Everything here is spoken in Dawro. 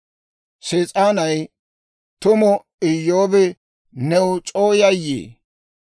Sees'aanay, «Tumu Iyyoobi new c'oo yayyii?